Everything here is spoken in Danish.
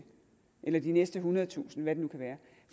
eller de næste ethundredetusind hvad det nu kan være